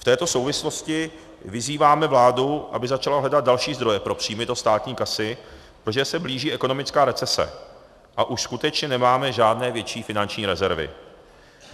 V této souvislosti vyzýváme vládu, aby začala hledat další zdroje pro příjmy do státní kasy, protože se blíží ekonomická recese a už skutečně nemáme žádné větší finanční rezervy.